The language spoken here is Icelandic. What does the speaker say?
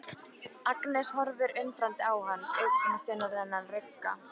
Agnes horfir undrandi á hann, augasteinarnir rugga.